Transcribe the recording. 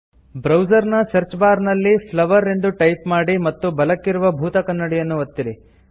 ಬ್ರೌಸರ್ನ search bar ನಲ್ಲಿ flower ಎಂದು type ಮಾಡಿ ಮತ್ತು ಬಲಕ್ಕಿರುವ ಭೂತಕನ್ನಡಿಯನ್ನು ಒತ್ತಿರಿ